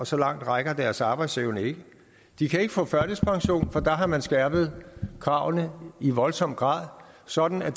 så langt rækker deres arbejdsevne ikke de kan ikke få førtidspension for der har man skærpet kravene i voldsom grad sådan at